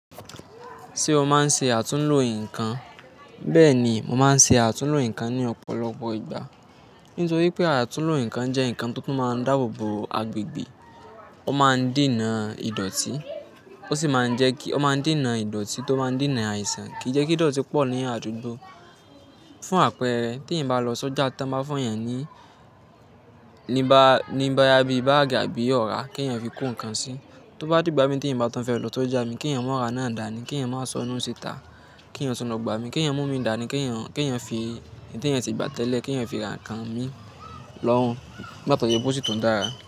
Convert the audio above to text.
Ṣé o máa ń ṣe àtúnlo nǹkan? Bẹ́ẹ̀ni, mo máa ń ṣe àtúnlo nǹkan ní ọ̀pọ̀lọpọ̀ ìgbà. Nítorí pé àtúnlo nǹkan jẹ́ nǹkan tó máa ń dáàbò bo agbègbè, ó máa ń dènà ìdọ̀tí, ó sì máa ń jẹ́ kí, ó máa ń dènà ìdọ̀tí tó máa ń dènà àìsàn kí ìjẹ́kídọ̀tí pọ̀ ní àdúgbò. Fún àpẹẹrẹ tí eèyan bá lọ sójà tán báa fún èèyàn ní níba, ni boya bíi báàgì àbí ọ̀rá kí èèyàn fi kó nǹkan sí. Tó bá d'ìgbà mi te eeyan bá tun fẹ́ lọ sójà mi kí èèyàn máa ra náà dàní, kí èèyàn máa sọnuú síta, kí èèyàn tun lo gba mi, kí èèyàn mú mi dàní, kí èèyàn, kí èèyàn fi ehi tí èèyàn ti gbà tẹ́lẹ̀ kí èèyàn fi ra nǹkan mi lọ́hùn bátọ̀jọ́ pe ó si tun dára.